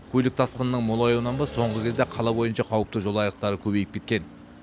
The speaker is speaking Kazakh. көлік тасқынының молаюынан ба соңғы кезде қала бойынша қауіпті жол айрықтары көбейіп кеткен